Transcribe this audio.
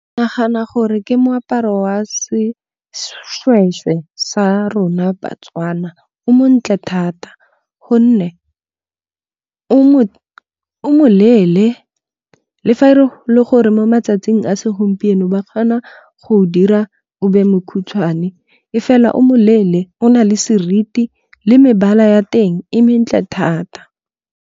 Ke nagana gore ke moaparo wa seshweshwe sa rona ba-Tswana. O montle thata gonne o mo leele le fa e le gore mo matsatsing a segompieno ba kgona go o dira o be mokhutswane. E fela o moleele o na le seriti le mebala ya teng e mentle thata.